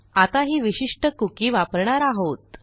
आता ही विशिष्ट कुकी वापरणार आहोत